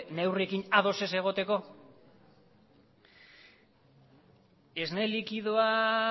neurriekin ados ez egoteko esne likidoa